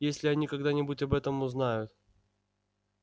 если они когда-нибудь об этом узнают